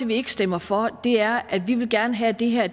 vi ikke stemmer for er at vi vil gerne have at det her